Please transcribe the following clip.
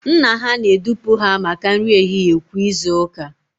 Nna ha na-edupụ ha maka nri ehihie kwa izu ụka